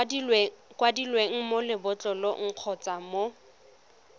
kwadilweng mo lebotlolong kgotsa mo